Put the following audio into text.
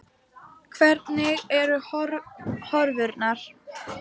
Hvernig eru horfurnar?